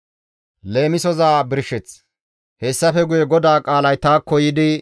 Hessafe guye GODAA qaalay taakko yiidi,